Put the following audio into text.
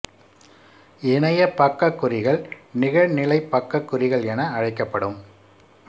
இணையப் பக்கக் குறிகள் நிகழ்நிலைப் பக்கக் குறிகள் என அழைக்கப்படும்